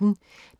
DR P1